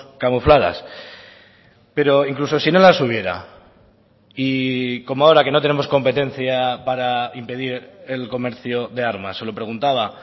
camufladas pero incluso si no las hubiera y como ahora que no tenemos competencia para impedir el comercio de armas se lo preguntaba